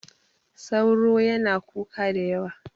sauro yana kuka da yawa